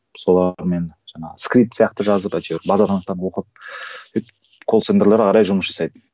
солармен жаңағы скрип сияқты жазып әйтеуір базаны анықтап оқып колл центрлер ары қарай жұмыс жасайды